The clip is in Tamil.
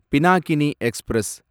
பினாகினி எக்ஸ்பிரஸ்